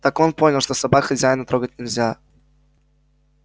так он понял что собак хозяина трогать нельзя